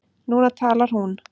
Núna talar hún.